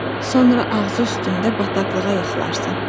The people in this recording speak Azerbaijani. Sonra ağzı üstündə bataqlığa yıxılarsan.